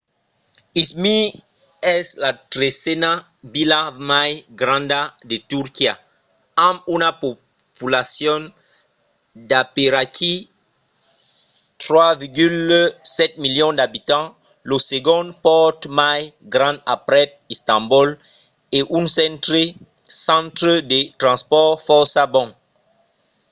izmir es la tresena vila mai granda de turquia amb una populacion d'aperaquí 3,7 milions d'abitants lo segond pòrt mai grand aprèp istanbol e un centre de transpòrts fòrça bon